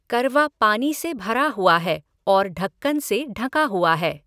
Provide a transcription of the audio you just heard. करवा पानी से भरा हुआ है और ढक्कन से ढका हुआ है।